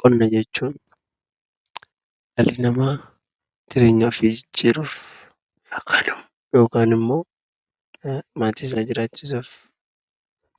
Qonna jechuun dhalli namaa jireenya ofii jijjiiruuf yookaan immoo maatii isaa jiraachisuuf